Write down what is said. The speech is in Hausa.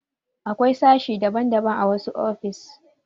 Akwai sashe daban daban a wasu ofis